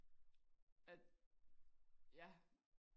at ja